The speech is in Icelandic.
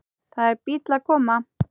Það er bíll að koma.